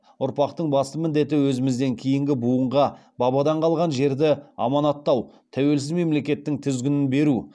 ұрпақтың басты міндеті өзімізден кейінгі буынға бабадан қалған жерді аманаттау тәуелсіз мемлекеттің тізгінін беру